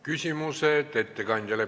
Küsimused ettekandjale.